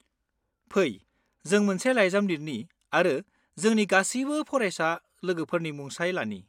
फै, जों मोनसे लाइजाम लिरनि आरो जोंनि गासिबो फरायसा लोगोफोरनि मुंसाइ लानि।